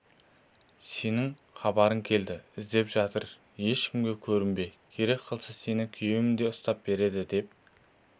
сенің хабарың келді іздеп жатыр ешкімге көрінбе керек қылсаң сені күйеуім де ұстап береді деп